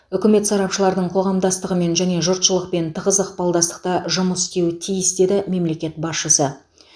үкімет сарапшылардың қоғамдастығымен және жұртшылықпен тығыз ықпалдастықта жұмыс істеуі тиіс деді мемлекет басшысы